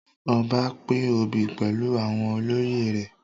Ọba pín obi pẹlu àwọn olóyè rẹ